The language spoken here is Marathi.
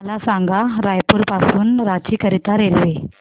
मला सांगा रायपुर पासून रांची करीता रेल्वे